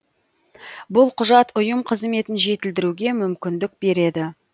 бұл құжат ұйым қызметін жетілдіруге мүмкіндік береді